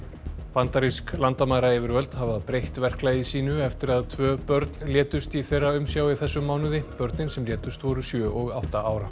bandarísk landamærayfirvöld hafa breytt verklagi sínu eftir að tvö börn létust í þeirra umsjá í þessum mánuði börnin sem létust voru sjö og átta ára